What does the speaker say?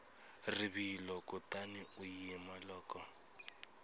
rivilo kutani u yima loko